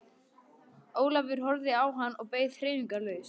Ólafur horfði á hann og beið hreyfingarlaus.